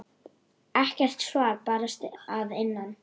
Ekkert svar barst að innan.